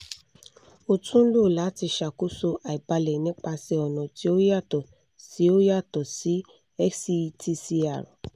o tun lo lati ṣakoso aibalẹ nipasẹ ọna ti o yatọ ti o yatọ si xet cr